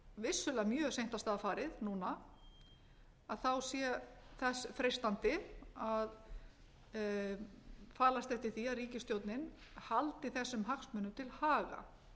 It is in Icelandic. vissulega mjög seint af stað farið núna sé þess freistandi að falast eftir því að ríkisstjórnin haldi þessum hagsmunum til haga